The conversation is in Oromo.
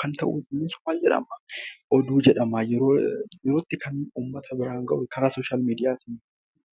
karaa miidiyaa hawwaasaatiin yeroo yerootti uummata biraan kan ga'amuu oduu jedhama.